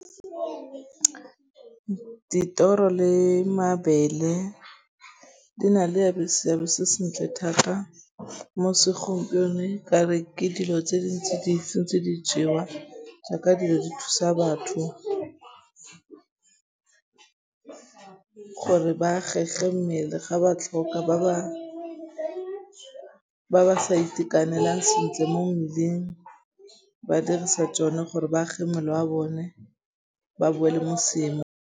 Dithoro le mabele di na le seabe se sentle thata mo segompieno ka re ke dilo tse di ntse di jewa jaaka dilo di thusa batho gore ba agege mmele ga ba tlhoka ba ba sa itekanelang sentle mo mmeleng ba dirisa tšone gore ba age mmele wa bone gore ba boele mo seemong.